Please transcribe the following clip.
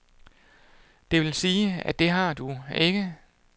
Det vil sige, at det har du ikke.